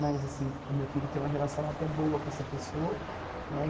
Mas assim, meu filho tem uma relação até boa com essa pessoa, né?